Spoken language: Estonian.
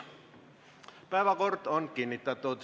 Päevakord on kinnitatud.